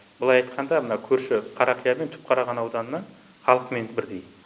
былай айтқанда мына көрші қарақия мен түпқараған ауданының халқымен бірдей